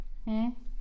Mh